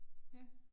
Ja